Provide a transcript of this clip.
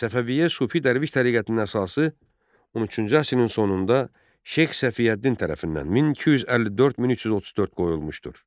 Səfəviyyə sufi dərviş təriqətinin əsası 13-cü əsrin sonunda Şeyx Səfiyyəddin tərəfindən 1254-1334 qoyulmuşdur.